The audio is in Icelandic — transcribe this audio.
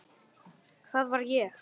Það var ég!